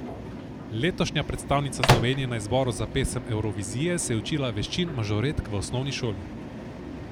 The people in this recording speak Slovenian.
Letošnja predstavnica Slovenije na izboru za pesem Evrovizije se je učila veščin mažoretk v osnovni šoli.